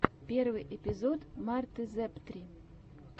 первый эпизод марты зэптри